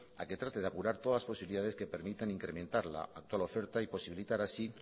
a que trate de apurar todas las posibilidades que permitan incrementar la actual oferta y posibilitar así